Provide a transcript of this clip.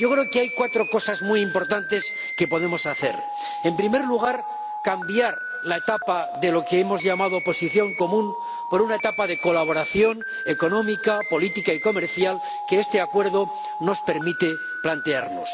Yo creo que hay cuatro cosas muy importantes que podemos hacer. En primer lugar, cambiar la etapa de lo que hemos llamado Posición Común por una etapa de colaboración económica, política y comercial que este acuerdo nos permite plantearnos.